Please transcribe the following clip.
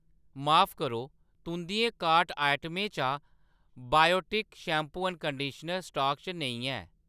माफ करो, तुंʼदियें कार्ट आइटमें चा biotic shampoo and conditioner stock च नेईं ऐ